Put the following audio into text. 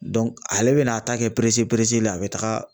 ale bɛna a ta kɛ la a bɛ taga